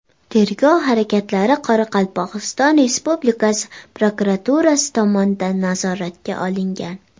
Tergov harakatlari Qoraqalpog‘iston Respublikasi prokuraturasi tomonidan nazoratga olingan.